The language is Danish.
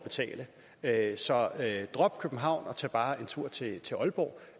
at så drop københavn og tag bare en tur til til aalborg